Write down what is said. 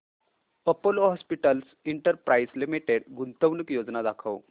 Apollo Hospitals Enterprise Limited गुंतवणूक योजना दाखव